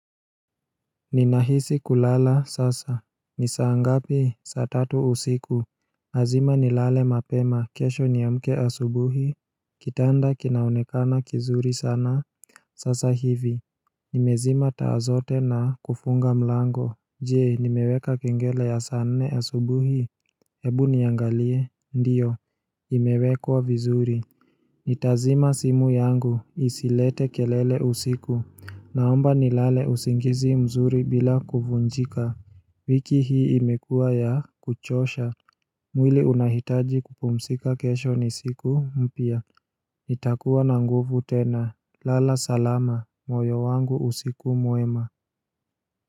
Ninahisi kulala sasa. Ni saa ngapi? Saa tatu usiku Lazima nilale mapema kesho niamke asubuhi Kitanda kinaonekana kizuri sana sasa hivi Nimezima taa zote na kufunga mlango. Je nimeweka kengele ya saa nne asubuhi? Ebu niangalie, ndiyo imewekwa vizuri Nitazima simu yangu isilete kelele usiku Naomba nilale usingizi mzuri bila kuvunjika wiki hii imekuwa ya kuchosha mwili unahitaji kupumzika, kesho ni siku mpya nitakuwa na nguvu tena. Lala salama, moyo wangu usiku mwema.